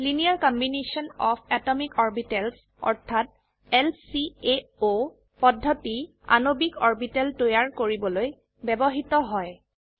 liner combination of atomic orbitals অৰ্থাৎ LCAO পদ্ধতি আণবিক অৰবিটেল তৈয়াৰ কৰিবলৈ ব্যবহৃত হয়